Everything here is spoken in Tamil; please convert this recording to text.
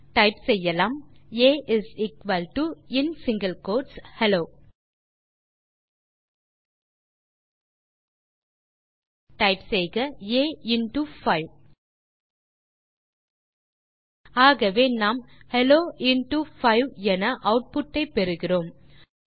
ஆகவே டைப் செய்யலாம் a in single quotes hello type செய்க ஆ இன்டோ 5 ஆகவே நாம் ஹெல்லோ இன்டோ 5 என ஆட்புட் ஐ பெறுகிறோம்